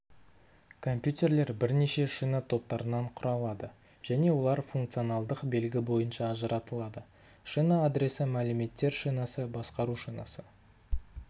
компьютерлер бірнеше шина топтарынан құралады және олар функционалдық белгі бойынша ажыратылады шина адресі мәліметтер шинасы басқару шинасы